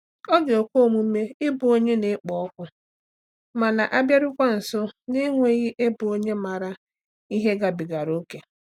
Ọ ga-ekwe omume ịbụ onye na-ekpo ọkụ ma na-abịarukwa nso na-enweghị ịbụ onye maara ihe gabigara ókè.